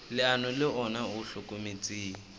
leano le ona o hlokometse